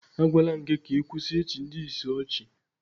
Agwaala m gị ka ị kwụsị ịchị ndị ìsì ọchị